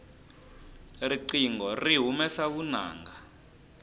riqingho ri humesa vunanga